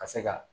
Ka se ka